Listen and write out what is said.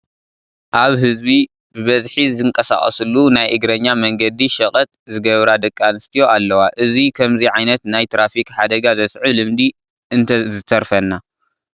ኣብ ህዝቢ ብብዝሒ ዝንቀሳቐሰሉ ናይ እግረኛ መንገዲ ሸቐጥ ዝገብራ ደቂ ኣንስትዮ ኣለዋ፡፡ እዚ ከምዚ ዓይነት ናይ ትራፊክ ሓደጋ ዘስዕብ ልምዲ እንተዝተርፈና፡፡